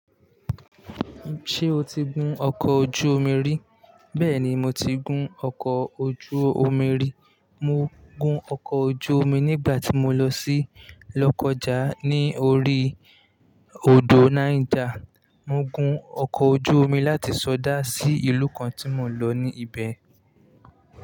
Ṣé o ti gún ọkọ̀ ojú omi rí? Bẹ́ẹ̀ni mo ti gún ọkọ̀ ojú omi rí. Mo gún ọkọ ojú omi nígbà tí mo lọ sí Lokoja ní orí odò Niger. Mo gún ọkọ̀ ojú omi láti Sọdá sí ìlú kan tí mò ń lọ ní ibẹ̀.